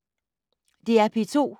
DR P2